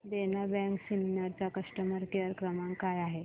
देना bank Sinnar चा customer care क्रमांक काय आहे